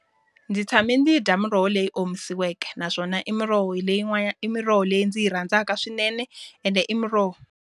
Ndzi tshame ndzi yi dya miroho leyi omisiweke naswona i miroho hi i miroho leyi ndzi yi rhandzaka swinene ende i muroho.